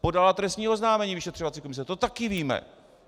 Podala trestní oznámení vyšetřovací komise, to taky víme.